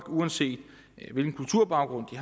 uanset hvilken kulturbaggrund